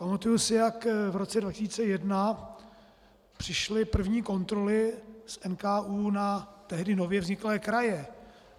Pamatuji si, jak v roce 2001 přišly první kontroly z NKÚ na tehdy nově vzniklé kraje.